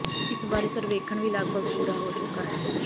ਇਸ ਬਾਰੇ ਸਰਵੇਖਣ ਵੀ ਲਗਪਗ ਪੂਰਾ ਹੋ ਚੁੱਕਾ ਹੈ